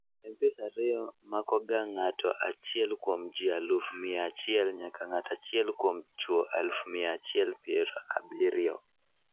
MPS II makoga ng'ato achiel kuom ji aluf mia achiel nyaka ng'ato achiel kuom chuo aluf mia achiel pier abirio